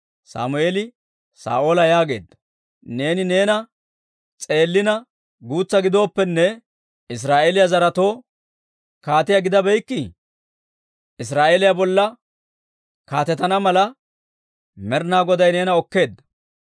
Sammeeli Saa'oola yaageedda; «Neeni neena s'eellina guutsa gidooppenne, Israa'eeliyaa zaretoo kaatiyaa gidabeykkii? Israa'eeliyaa bolla kaatetana mala, Med'inaa Goday neena okkeedda.